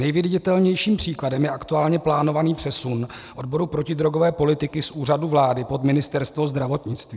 Nejviditelnějším příkladem je aktuálně plánovaný přesun odboru protidrogové politiky z Úřadu vlády pod Ministerstvo zdravotnictví.